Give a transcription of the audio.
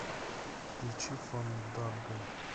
включи фанданго